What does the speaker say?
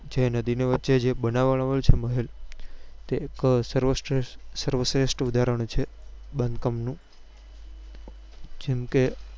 છે નદી ની વચે જે બનાવવવા માં આવેલો છે મહેલ તે એક સર્વશ્રેષ્ઠ સર્વશ્રેષ્ઠ ઉદાહરણ છે બાંધકામ નું જેમ કે